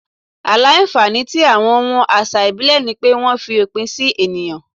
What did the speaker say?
Àìlà-nfànì tí awọn wọn àṣà ìbílẹ̀ ni pé wọ́n fi òpin sì ènìyàn.